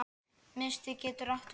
Miðstig getur átt við